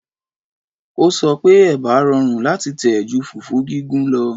Ó sọ pé Ẹ̀bà rọrùn láti tẹ̀ ju fùfú gígún lọ